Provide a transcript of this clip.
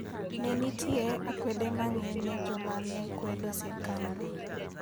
Ne nitie akwede mang'eny ne joma ne kwedo sirkandno.